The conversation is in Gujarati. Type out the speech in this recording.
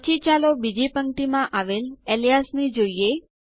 પછી ચાલો બીજી પંક્તિ માં આવેલ અલિયાસ ને જોઈએ